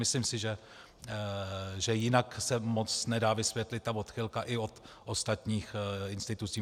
Myslím si, že jinak se moc nedá vysvětlit ta odchylka i od ostatních institucí.